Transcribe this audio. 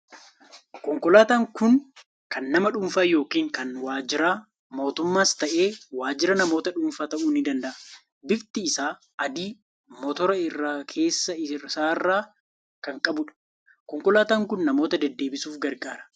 Konkolaataan kun kan nama dhuunfaa yookiin kan waajjira mootummaas ta'e, waajjira namoota dhuunfaa ta'uu ni danda'a. Bifti isaa adii, motora irra keessa isaarraa kan qabudha. Konkolaataan kun namoota deddeebisuuf gargaara.